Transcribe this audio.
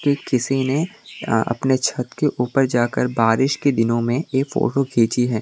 ये किसी ने अपने छत के ऊपर जाकर बारिश के दिनों में ये फोटो खींची है।